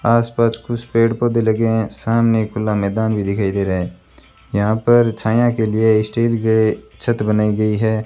आस पास कुछ पेड़ पौधे लगे हैं सामने खुला मैदान भी दिखाई दे रहा है यहां पर छायां के लिए स्टील के छत बनाई गई है।